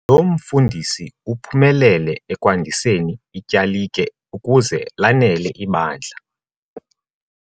Lo mfundisi uphumelele ekwandiseni ityalike ukuze lanele ibandla.